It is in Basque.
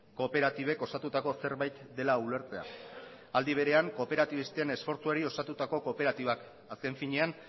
kooperatibek osatutako zerbait dela ulertzea aldi berean kooperatibisten esfortzuari osatutako kooperatibaz azken finean